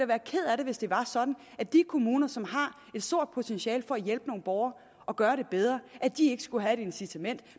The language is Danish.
være ked af det hvis det var sådan at de kommuner som har et stort potentiale for at hjælpe nogle borgere og gøre det bedre ikke skulle have et incitament